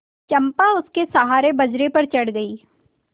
चंपा उसके सहारे बजरे पर चढ़ गई